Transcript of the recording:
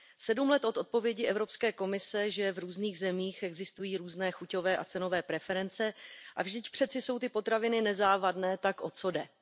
Sedm let od odpovědi Evropské komise, že v různých zemích existují různé chuťové a cenové preference, že přeci jsou ty potraviny nezávadné, tak o co jde.